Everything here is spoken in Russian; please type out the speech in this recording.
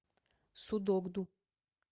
судогду